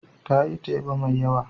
Ta yi teba mai yawa.